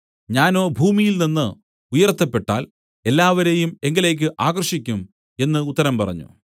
ഞാനോ ഭൂമിയിൽനിന്നു ഉയർത്തപ്പെട്ടാൽ എല്ലാവരെയും എങ്കലേക്ക് ആകർഷിക്കും എന്നു ഉത്തരം പറഞ്ഞു